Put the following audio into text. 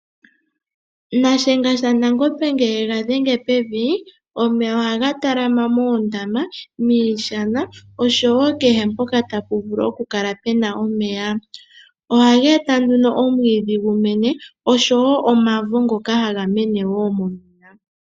Shiyenga shaNangombe ngele ye ga dhenge pevi . Omeya ohaga talama moondama, miishana osho woo kehe mpoka tapu vulu okukala pu na omeya . Ohaga eta omwiidhi gu mene osho wo omavo ngoka haga mene woo momeya.